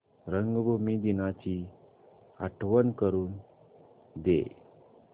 रंगभूमी दिनाची आठवण करून दे